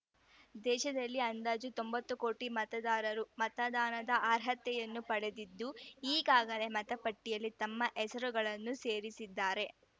ದೇಶದಲ್ಲಿ ಅಂದಾಜು ತೊಂಬತ್ತು ಕೋಟಿ ಮತದಾರರು ಮತದಾನದ ಅರ್ಹತೆಯನ್ನು ಪಡೆದಿದ್ದು ಈಗಾಗಲೇ ಮತಪಟ್ಟಿಯಲ್ಲಿ ತಮ್ಮ ಹೆಸರುಗಳನ್ನು ಸೇರಿಸಿದ್ದಾರೆ